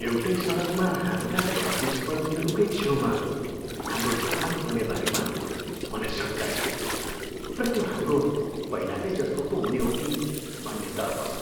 एउटै सडकमा हाम्रा प्रतिस्पर्धीहरूकै छेउमा हाम्रो दोकान खोल्ने बारेमा मलाई शङ्का थियो र त्यो हाम्रो पहिलाकै जस्तै पो हुने हो कि भन्ने डर पनि।